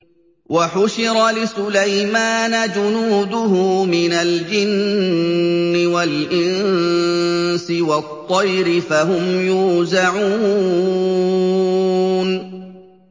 وَحُشِرَ لِسُلَيْمَانَ جُنُودُهُ مِنَ الْجِنِّ وَالْإِنسِ وَالطَّيْرِ فَهُمْ يُوزَعُونَ